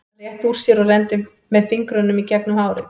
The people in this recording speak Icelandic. Hann rétti úr sér og renndi með fingrunum í gegnum hárið.